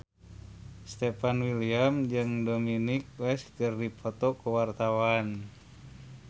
Stefan William jeung Dominic West keur dipoto ku wartawan